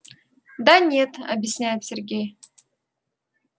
да нет объясняет сергей